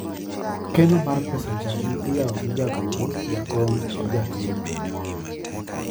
Keno mar pesa chadi iyawo gi jagoro, jakom gi jakeno